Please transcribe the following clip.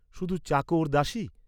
শুধু চাকর দাসী?